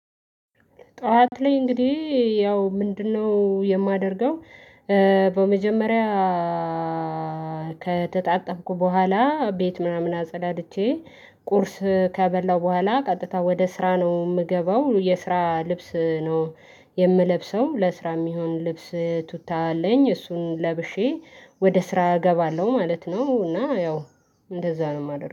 ጠዋት ላይ እንግዲህ ያው ምንድነው የማደርገው? በመጀመሪያ ከተጣጠብኩ በኋላ ቤት ምናምን አጸዳድቼ ቁርስ ከበላው በኋላ ቀጥታ ወደ ስራ ነው እምገባው የስራ ልብስ ነው። የምለብሰው ለስራ እሚሆን ልብስ ቱታ አለኝ እሱን ለብሼ ወደ ስራ እገባለሁ ማለት ነው። እና ያው እንደዛ ነው እማደርገው